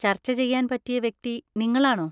ചർച്ച ചെയ്യാൻ പറ്റിയ വ്യക്തി നിങ്ങളാണോ?